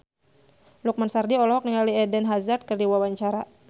Lukman Sardi olohok ningali Eden Hazard keur diwawancara